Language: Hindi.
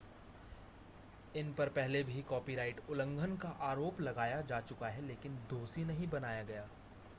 इन पर पहले भी कॉपीराइट उल्लंघन का आरोप लगाया जा चुका है लेकिन दोषी नहीं बनाया गया